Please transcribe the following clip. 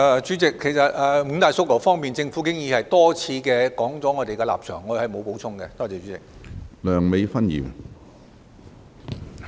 主席，就着五大訴求，其實政府已多次提出我們的立場，我沒有補充了。